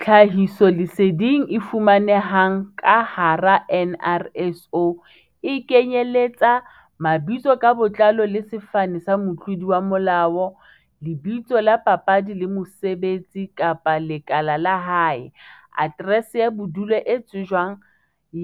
Tlhahisoleseding e fumanehang ka hara NRSO e kenyeletsa, Mabitso ka botlalo le sefane tsa motlodi wa molao, lebitso la papadi le mosebetsi kapa lekala la hae, Aterese ya bodulo e tsejwang